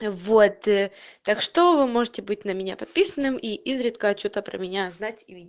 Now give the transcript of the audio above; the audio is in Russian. вот ээ так что вы можете быть на меня подписанным и изредка что-то про меня знать и